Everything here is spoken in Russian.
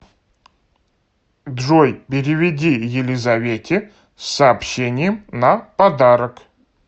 джой переведи елизавете с сообщением на подарок